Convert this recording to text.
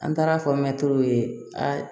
An taara fɔ mɛtiriw ye a